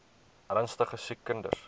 ernstige siek kinders